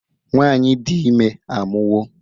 nwanyi di ime amuwo